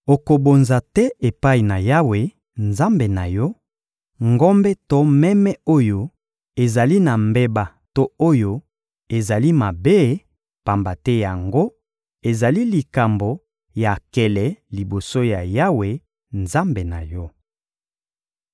Okobonza te epai na Yawe, Nzambe na yo, ngombe to meme oyo ezali na mbeba to oyo ezali mabe, pamba te yango ezali likambo ya nkele liboso ya Yawe, Nzambe na yo.